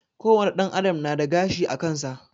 Ko wane ɗan adam nada gashi akansa